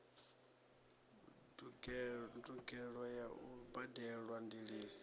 ndugelo ya u badelwa ndiliso